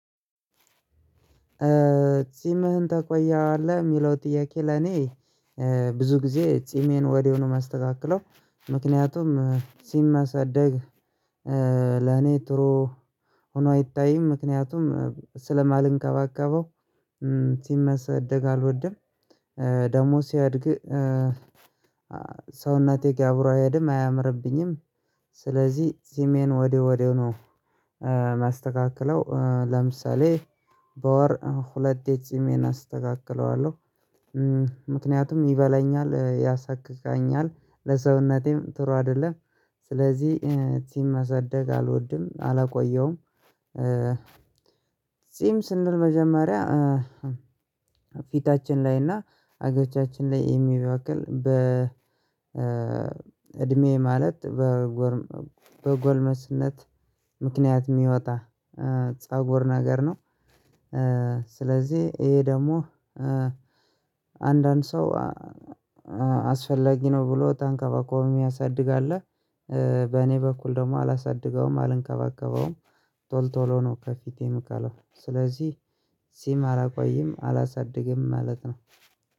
ጺምህን ትቆያለህ?" የሚለው ጥያቄ ለኔ ብዙ ጊዜ ጺሜን ወዲያው ነው የማስተካክለው፤ ምክንያቱም ጺም ማሳደግ ለኔ ጥሩ ሆኖ አይታይም ምክንያቱም ስለማልንከባከበው ጺም መሰደግ አልወድም ደግሞ ሲያድግ ሰውናቴ ጋር አብሮ አይሄድም አያምርብኝም ስለዚህ ጺሜን ወዲህ ወዲህ ነው የማስተካክለው ለምሳሌ በወር ሁለቴ ጺሜን አስተካክለዋለሁ ምክንያቱም ይበላኛል ያሳክከኛል ለሰውነቴም ጥሩ አይደለም ስለዚህ ጺም መሰደግ አልወድም አላቆየሁም ጺም ስንል መጀመሪያ ፊታችን ላይ እና አገጫችን ላይ የሚበቅል በ እድሜ ማለት በጎርም በጎልመስነት ምክንያት የሚወጣ ፀጉር ነገር ነው ስለዚህ ይሄ ደግሞ አንዳንድ ሰው አስፈላጊ ነው ብሎ ተንከባኮብም ምያሳድግ አለ በኔ በኩል ደግሞ አላሳድገውም አልንከባከበውም ቶል ቶሎ ነው ከፊቴ ምቀለው ስለዚህ ጺም አላቆይም አላሳድግም ማለት ነው